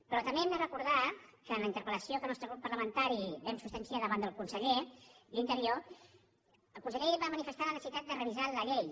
però també hem de recordar que en la interpel·lació que el nostre grup parlamentari va substanciar davant del conseller d’interior el conseller va manifestar la necessitat de revisar la llei